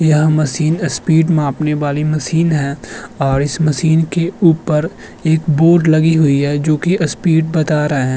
यह machine speed मापने वाली मशीन है और इस मशीन के ऊपर एक बोर्ड लगी हुई है जो कि अस्पीड बता रहे है।